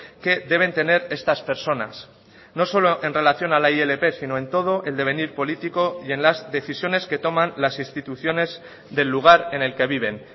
que deben tener estas personas no solo en relación a la ilp sino en todo el devenir político y en las decisiones que toman las instituciones del lugar en el que viven